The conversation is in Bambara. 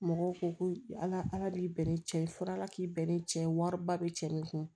Mɔgɔw ko ko ala ala y'i bɛnnen cɛ ye fɔ ala k'i bɛn ni cɛ ye wari ba bɛ cɛ nin kun